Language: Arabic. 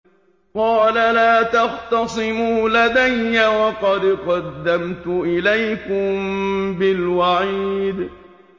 قَالَ لَا تَخْتَصِمُوا لَدَيَّ وَقَدْ قَدَّمْتُ إِلَيْكُم بِالْوَعِيدِ